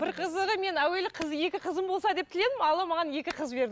бір қызығы мен әуелі қыз екі қызым болса деп тіледім алла маған екі қыз берді